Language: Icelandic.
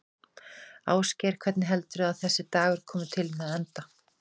Ásgeir: Hvernig heldurðu að þessi dagur komi til með að enda?